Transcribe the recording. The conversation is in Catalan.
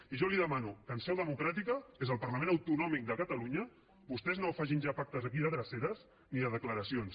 i jo li demano que en seu democràtica que és al parlament autonòmic de catalunya vostès no facin ja pactes aquí de dreceres ni declaracions